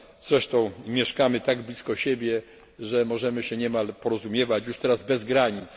Zresztą mieszkamy tak blisko siebie, że możemy się niemal porozumiewać już teraz bez granic.